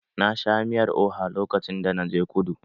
Na sha miyar oha lokacin da na je kudu.